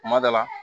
Kuma dɔ la